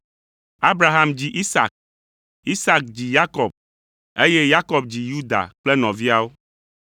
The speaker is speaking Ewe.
Abraham dzi Isak, Isak dzi Yakob, eye Yakob dzi Yuda kple nɔviawo,